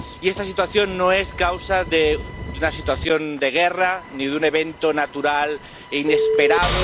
Y esta situación no está causada por una situación de guerra, ni por un evento natural e inesperado.